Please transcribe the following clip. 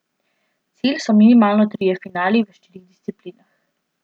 Cilj so minimalno trije finali v štirih disciplinah.